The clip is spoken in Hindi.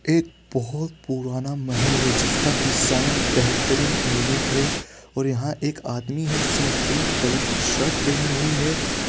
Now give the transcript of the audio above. एक बहुत पुराना महल है जिसका डिज़ाइन बेहतरीन यूनिक है और यहाँ एक आदमी है जिसने पिंक कलर की शर्ट पेहनी हुई है।